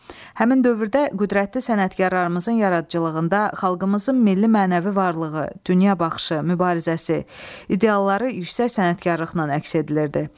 Həmin dövrdə qüdrətli sənətkarlarımızın yaradıcılığında xalqımızın milli mənəvi varlığı, dünya baxışı, mübarizəsi, idealları yüksək sənətkarlıqla əks etdirilirdi.